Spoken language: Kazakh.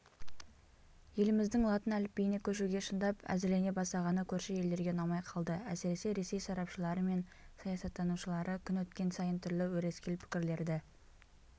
еліміздің латын әліпбиіне көшуге шындап әзірленебастағаны көрші елдерге ұнамай қалды әсіресе ресей сарапшылары мен саясаттанушылары күн өткен сайын түрлі өрескел пікірлерді